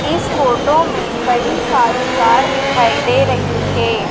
इस फोटो में कई सारी कार दिखाई दे रही है।